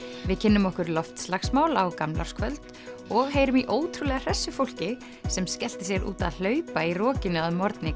við kynnum okkur loftslagsmál á gamlárskvöld og heyrum í ótrúlega fólki sem skellti sér út að hlaupa í rokinu að morgni